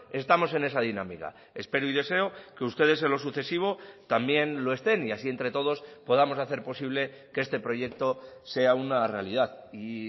estamos en esa dinámica espero y deseo que ustedes en lo sucesivo también lo estén y así entre todos podamos hacer posible que este proyecto sea una realidad y